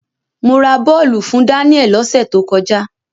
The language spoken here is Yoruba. Mo ra bọ́ọ̀lù fún Daniel lọ́sẹ̀ tó kọjá.